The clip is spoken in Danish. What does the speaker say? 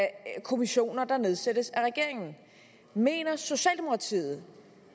kommissioner der nedsættes af regeringen mener socialdemokratiet